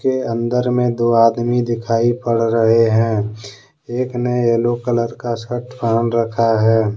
के अंदर में दो आदमी दिखाई पड़ रहे हैं एक ने येलो कलर का शर्ट पहन रखा है।